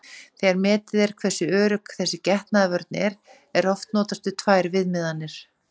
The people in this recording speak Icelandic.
Þegar metið er hversu örugg þessi getnaðarvörn er, er oft notast við tvær viðmiðanir.